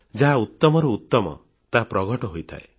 ଯାହା ଉତ୍ତମରୁ ଉତ୍ତମ ତାହା ପ୍ରଘଟ ହୋଇଥାଏ